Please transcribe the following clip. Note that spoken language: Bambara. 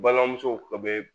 Balimamuso bɛ